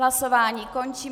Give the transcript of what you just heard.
Hlasování končím.